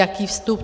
Jaký vstup?